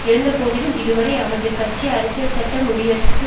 இருந்த போதிலும் இதுவரையும் அவரது கட்சி அரசியல்சட்ட முடியரசுக்கு